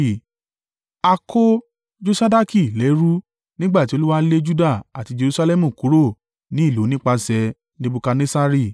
A kó Josadaki lẹ́rú nígbà tí Olúwa lé Juda àti Jerusalẹmu kúrò ní ìlú nípasẹ̀ Nebukadnessari.